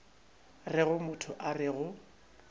rego motho a re go